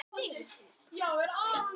Líkingin á rætur að rekja til skáktafls.